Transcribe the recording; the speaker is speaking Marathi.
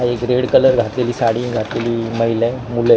हा एक रेड कलर घातलेली साडी घातलेली महिला ए मुलं ए .